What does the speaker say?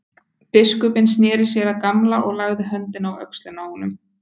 Biskupinn sneri sér að Gamla og lagði höndina á öxlina á honum.